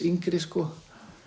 yngri sko